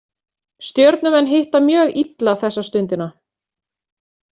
Stjörnumenn hitta mjög illa þessa stundina